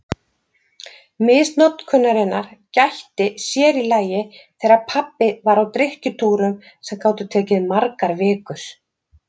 Misnotkunarinnar gætti sér í lagi þegar pabbi var á drykkjutúrum sem gátu tekið margar vikur.